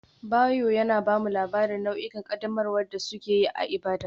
Bayo yana ba mu labarin nau'ikan ƙaddamarwa da suke yi a Ibadan.